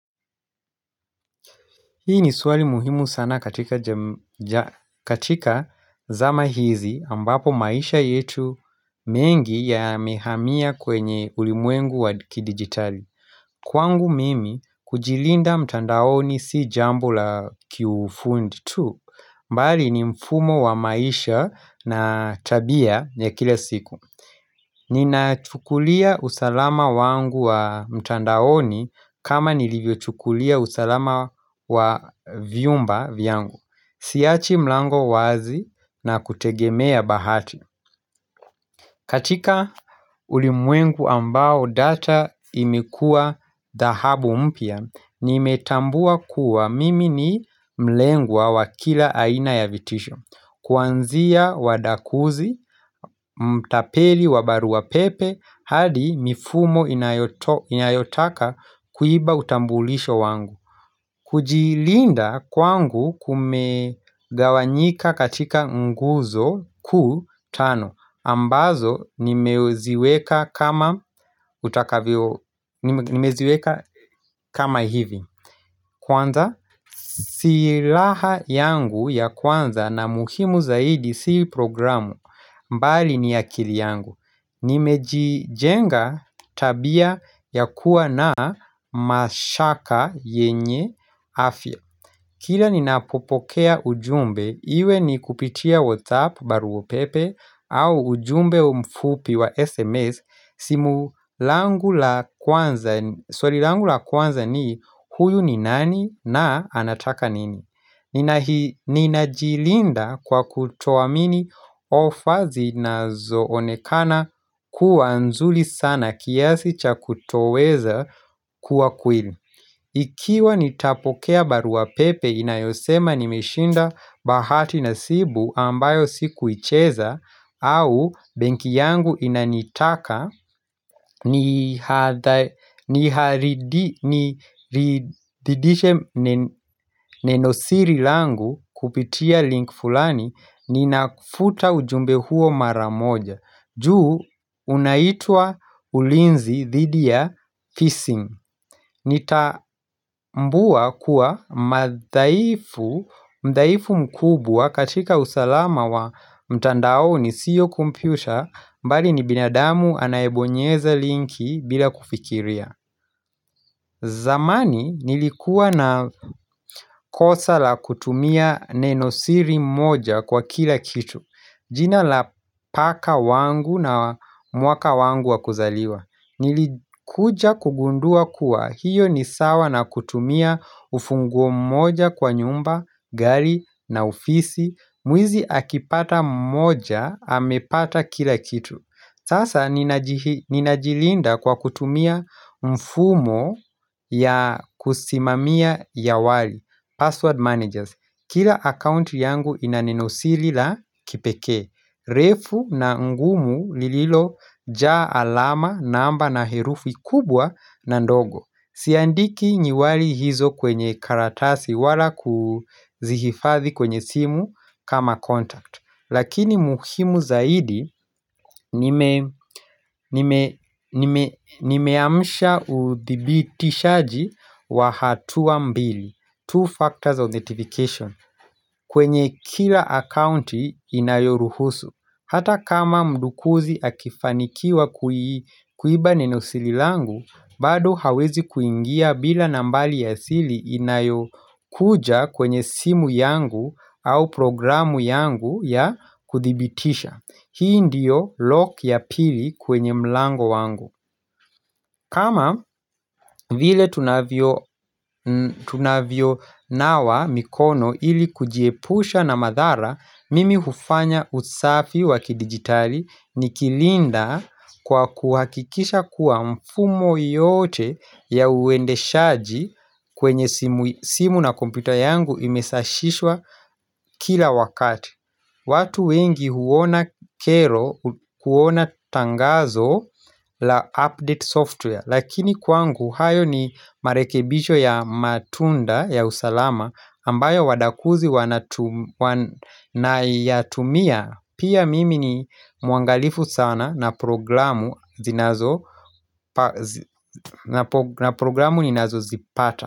Hii ni swali muhimu sana katika zama hizi ambapo maisha yetu mengi yamehamiya kwenye ulimwengu wa kidigitali Kwangu mimi kujilinda mtandaoni si jambo la kiufundi tu mbali ni mfumo wa maisha na tabia ya kila siku Nina chukulia usalama wangu wa mtandaoni kama nilivyo chukulia usalama wa vyumba vyangu Siachi mlango wazi na kutegemea bahati katika ulimwengu ambao data imekuwa dahabu mpia Nimetambua kuwa mimi ni mlengwa wa kila aina ya vitisho Kwanzia wadakuzi, mtapeli wa baruwa pepe, hadi mifumo inayotaka kuiba utambulisho wangu kujilinda kwangu kumegawanyika katika nguzo kuu tano ambazo nimeziweka kama hivi Kwanza, silaha yangu ya kwanza na muhimu zaidi si programu mbali ni akili yangu. Nimejijenga tabia ya kuwa na mashaka yenye afya. Kila ninapopokea ujumbe, iwe ni kupitia WhatsApp baruo pepe au ujumbe umfupi wa SMS Swali langu la kwanza ni huyu ni nani na anataka nini Ninajilinda kwa kutowamini ofa zinazoonekana kuwa nzuli sana kiasi cha kutoweza kuwa kueli Ikiwa nitapokea baruapepe inayosema nimeshinda bahati nasibu ambayo sikuicheza au benki yangu inanitaka ni haridiche nenosiri langu kupitia link fulani ninakufuta ujumbe huo maramoja. Juu unaitua ulinzi thidia fissing Nitambua kuwa mdaifu mkubwa katika usalama wa mtandaoni siyo kompyuta mbali ni binadamu anaebonyeza linki bila kufikiria zamani nilikuwa na kosa la kutumia nenosiri moja kwa kila kitu jina la paka wangu na mwaka wangu wakuzaliwa Nilikuja kugundua kuwa hiyo ni sawa na kutumia ufunguo mmoja kwa nyumba, gari na ofisi Mwizi akipata mmoja amepata kila kitu Sasa ninajilinda kwa kutumia mfumo ya kusimamia ya wali password Managers Kila account yangu inanenosili la kipeke refu na ngumu lililo jaa alama namba na herufi kubwa na ndogo Siandiki nyiwali hizo kwenye karatasi wala kuzihifathi kwenye simu kama contact Lakini muhimu zaidi nimeamusha uthibitishaji wa hatuwa mbili Two factors of notification kwenye kila account inayoruhusu Hata kama mdukuzi akifanikiwa kuiba nenosili langu bado hawezi kuingia bila nambali ya sili inayokuja kwenye simu yangu au programu yangu ya kuthibitisha Hii ndiyo lock ya pili kwenye mlango wangu kama vile tunavyo nawa mikono ili kujiepusha na madhara, mimi hufanya usafi waki digitali nikilinda kwa kuhakikisha kuwa mfumo yote ya uendeshaji kwenye simu na kompyuta yangu imesashishwa kila wakati. Watu wengi huona kero, huona tangazo la update software Lakini kwangu hayo ni marekebisho ya matunda ya usalama ambayo wadakuzi wanayatumia Pia mimi ni muangalifu sana na programu zinazo na programu ninazozipata.